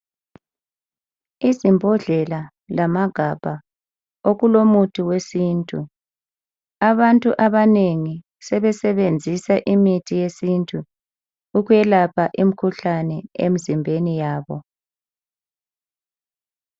izimbhodlela lamagabha okulomuthi wesintu abantu abanengi sebesebenzisa imithi yesintu ukwelapha imikhuhlane emzimbeni yabo